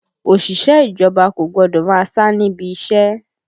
Òṣìṣẹ́ ìjọba kò gbọ́dọ̀ máa sá níbi iṣẹ́!